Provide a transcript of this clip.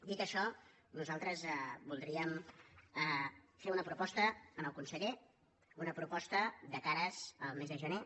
dit això nosaltres voldríem fer una proposta al conseller una proposta de cara al mes de gener